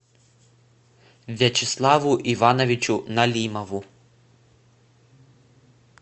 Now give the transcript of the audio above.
вячеславу ивановичу налимову